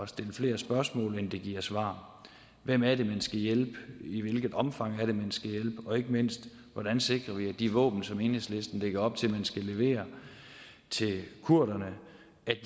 stille flere spørgsmål end det giver svar hvem er det man skal hjælpe i hvilket omfang er det man skal hjælpe og ikke mindst hvordan sikrer vi at de våben som enhedslisten lægger op til man skal levere til kurderne